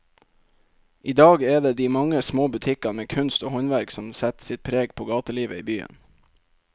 I dag er det de mange små butikkene med kunst og håndverk som setter sitt preg på gatelivet i byen.